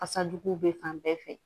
Fasa jugu bɛ fan bɛɛ fɛ